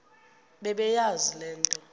bebeyazi le nto